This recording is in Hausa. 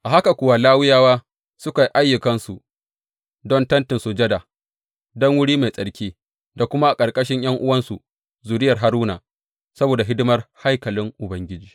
A haka kuwa Lawiyawa suka yi ayyukansu don Tentin Sujada, don Wuri Mai Tsarki da kuma a ƙarƙashin ’yan’uwansu zuriyar Haruna, saboda hidimar haikalin Ubangiji.